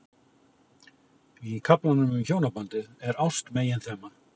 Í kaflanum um hjónabandið er ást meginþema.